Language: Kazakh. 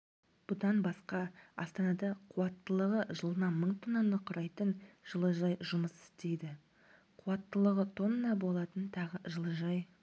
бұдан басқа астанада қуаттылығы жылына мың тоннаны құрайтын жылыжай жұмыс істейді қуаттылығы тонна болатын тағы жылыжай